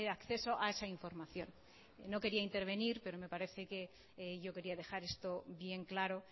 acceso a esa información no quería intervenir pero me parece que yo quería dejar esto bien claro